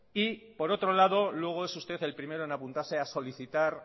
y por otro lado luego es usted el primero en apuntarse a solicitar